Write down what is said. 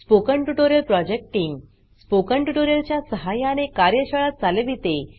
spoken tutorial project team spoken tutorial च्या सहाय्याने कार्यशाळा चालविते